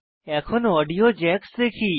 এখন audio jacks দেখি